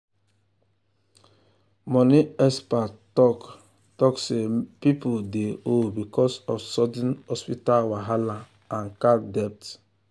money expert talk talk say people dey owe because of sudden hospital wahala and card debt.